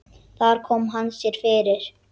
Þar kom hann sér fyrir.